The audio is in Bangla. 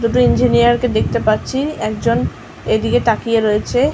দুটো ইঞ্জিনিয়ার -কে দেখতে পাচ্ছি একজন এদিকে তাকিয়ে রয়েছে।